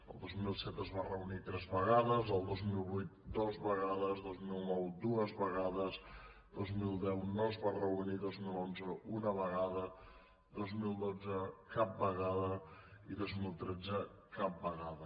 el dos mil set es va reunir tres vegades el dos mil vuit dues vegades el dos mil nou dues vegades el dos mil deu no es va reunir el dos mil onze una vegada el dos mil dotze cap vegada i el dos mil tretze cap vegada